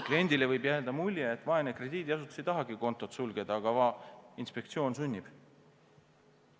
Kliendile võib jääda mulje, et vaene krediidiasutus ei tahagi kontot sulgeda, aga va inspektsioon sunnib.